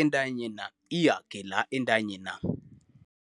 entanyena. Iyage la entanyena.